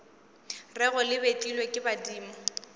rego le betlilwe ke badimo